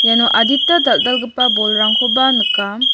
iano adita dal·dalgipa bolrangkoba nika.